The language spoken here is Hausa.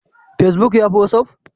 Facebook yafi watsapp?